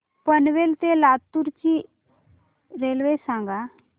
पनवेल ते लातूर ची रेल्वे सांगा